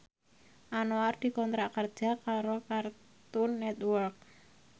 Anwar dikontrak kerja karo Cartoon Network